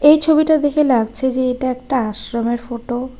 এই ছবিটা দেখে লাগছে যে এটা একটা আশ্রমের ফটো ।